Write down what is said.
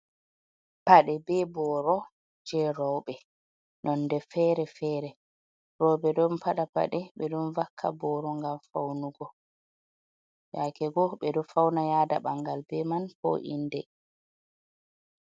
Paɗe be booro je rooɓe, nonde fere-fere, rooɓe ɗon paɗa paɗe, ɓe ɗon vakka booro, ngam faunugo, yake go ɓe ɗo fauna yaada ɓangal be man ko inde.